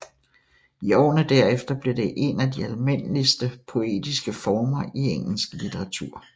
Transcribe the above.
I årene derefter blev det en af de almindeligste poetiske former i engelsk litteratur